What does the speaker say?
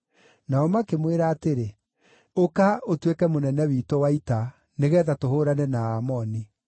Nao makĩmwĩra atĩrĩ, “Ũka, ũtuĩke mũnene witũ wa ita, nĩgeetha tũhũũrane na Aamoni.”